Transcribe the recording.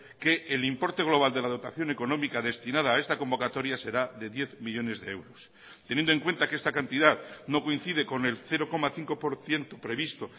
que el importe global de la dotación económica destinada a esta convocatoria será de diez millónes de euros teniendo en cuenta que esta cantidad no coincide con el cero coma cinco por ciento previsto